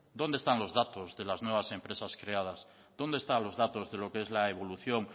dónde están los datos de las nuevas empresas creadas dónde están los datos de lo que es la evolución